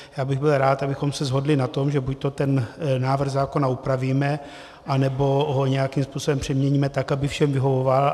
Já bych byl rád, abychom se shodli na tom, že buďto ten návrh zákona upravíme, nebo ho nějakým způsobem přeměníme tak, aby všem vyhovoval.